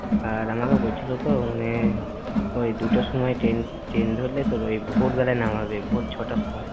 আর আমাকে বলছিল তো মানে ওই দুটোর সময় traintrain ধরলে তোর ওই ভোর বেলায় নামাবে, ভোর ছয়টার সময়।